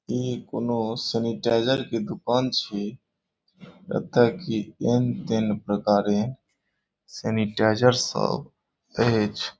ई कउनो सैनिटाइज़र के दुकान छे। लगता है की एन तेने प्रकारे सैनेटाइजर सब हेच।